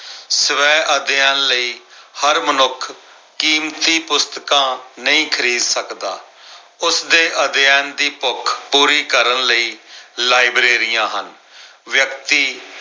ਸਵੈ ਅਧਿਐਨ ਲਈ ਹਰ ਮਨੁੱਖ ਕੀਮਤੀ ਪੁਸਤਕਾਂ ਨਹੀਂ ਖਰੀਦ ਸਕਦਾ। ਉਸਦੇ ਅਧਿਐਨ ਦੀ ਭੁੱਖ ਪੂਰੀ ਕਰਨ ਲਈ ਲਾਇਬ੍ਰੇਰੀਆਂ ਹਨ। ਵਿਅਕਤੀ